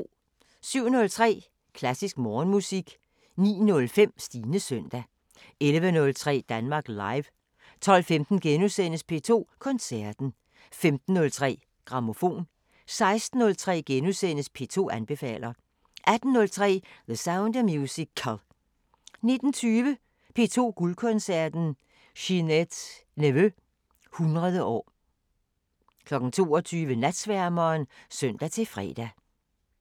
07:03: Klassisk Morgenmusik 09:05: Stines søndag 11:03: Danmark Live 12:15: P2 Koncerten * 15:03: Grammofon 16:03: P2 anbefaler * 18:03: The Sound of Musical 19:20: P2 Guldkoncerten: Ginette Neveu 100 år 22:00: Natsværmeren (søn-fre)